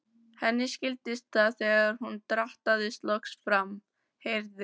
Henni skildist það þegar hún drattaðist loks fram, heyrði